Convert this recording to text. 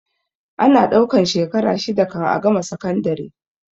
Ana ɗaukan shekara shida kan a gama sakandare